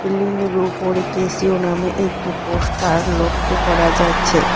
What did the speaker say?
Ceiling -এর ওপরে Casio নামে একটি পোস্টার লক্ষ্য করা যাচ্ছে।